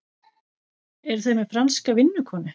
Eru þau með franska vinnukonu?